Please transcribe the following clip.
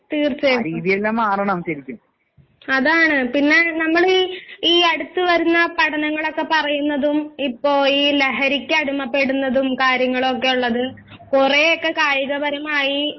തീർച്ചയായിട്ടും. അതാണ്, പിന്നെ നമ്മളീ ഈ അടുത്ത് വരുന്ന പഠനങ്ങളൊക്കെ പറയുന്നതും ഇപ്പൊ ഈ ലഹരിക്ക് അടിമപ്പെടുന്നതും കാര്യങ്ങളൊക്കെയൊള്ളത് കൊറേയൊക്കെ കായികപരമായി